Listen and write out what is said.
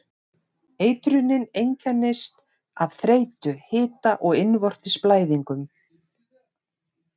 Eitrunin einkennist af þreytu, hita og innvortis blæðingum.